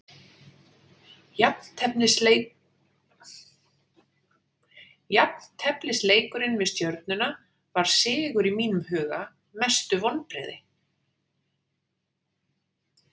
Jafnteflisleikurinn við stjörnuna var sigur í mínum huga Mestu vonbrigði?